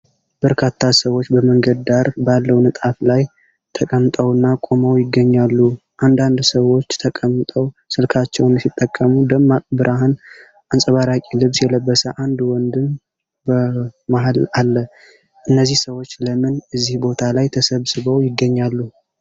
በርካታ ሰዎች በመንገድ ዳር ባለው ንጣፍ ላይ ተቀምጠውና ቆመው ይገኛሉ። አንዳንድ ሰዎች ተቀምጠው ስልካቸውን ሲጠቀሙ፣ ደማቅ ብርሃን አንጸባራቂ ልብስ የለበሰ አንድ ወንድም በመሃል አለ። እነዚህ ሰዎች ለምን እዚህ ቦታ ላይ ተሰባስበው ይገኛሉ?